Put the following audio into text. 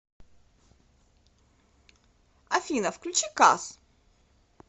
афина включи кас